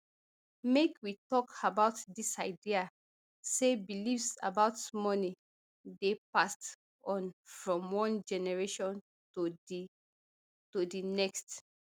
make we tok about dis idea say beliefs about money dey passed on from one generation to di to di next